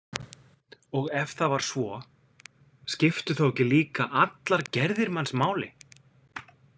Og ef það var svo, skiptu þá ekki líka allar gerðir manns máli?